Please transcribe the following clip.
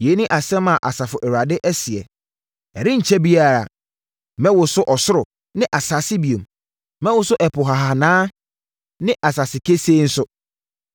“Yei ne asɛm a Asafo Awurade seɛ. ‘Ɛrenkyɛre biara, mɛwoso ɔsoro ne asase bio. Mɛwoso ɛpo hahanaa ne asase kesee nso.